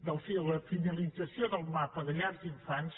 de la finalització del mapa de llar d’infants